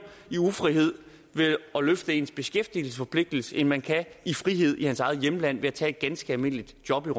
i ufrihed ved at løfte ens beskæftigelsesforpligtelse end man kan i frihed i hans eget hjemland ved tage et ganske almindeligt job